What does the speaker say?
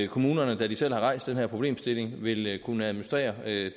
kommunerne da de selv har rejst den her problemstilling vil kunne administrere